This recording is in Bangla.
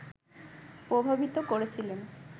প্রভাবিত করেছিলেন